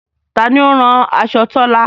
Taani ó o rán aṣọ Tọ́là?